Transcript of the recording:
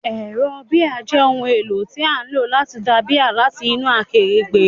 Ẹ̀rọ bíà jẹ́ ohun èlò tí a ń lò láti da bíà láti inú akèrègbè.